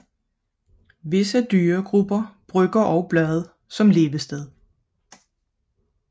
Visse dyregrupper benytter endog bladet som levested